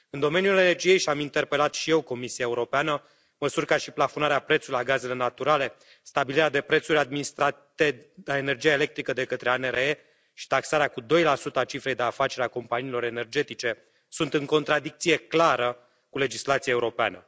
În domeniul energiei și am interpelat și eu Comisia Europeană măsuri ca și plafonarea prețului la gazele naturale, stabilirea de prețuri administrate la energia electrică de către ANRE și taxarea cu 2 a cifrei de afaceri a companiilor energetice sunt în contradicție clară cu legislația europeană.